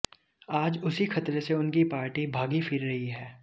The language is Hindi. आज उसी खतरे से उनकी पार्टी भागी फिर रही है